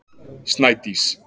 Snædís